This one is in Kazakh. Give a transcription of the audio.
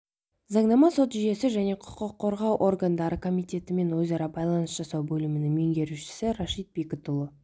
заңнама сот жүйесі және құқық қорғау органдары комитетімен өзара байланыс жасау бөлімінің меңгерушісі рашид бекітұлы